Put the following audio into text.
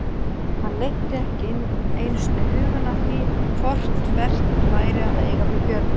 Hann leiddi ekki einu sinni hugann að því hvort vert væri að eiga við Björn.